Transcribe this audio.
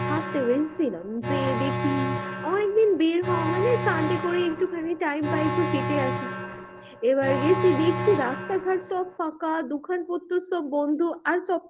হাঁটতে বেরিয়েছিলাম যে দেখি অনেকদিন বের হওয়া হয় নি করে একটু খানি time পাই একটু হেঁটে আসি এবার গেছি দেখছি রাস্তা ঘাট তো ফাঁকা দোকান পত্রর সব বন্ধ,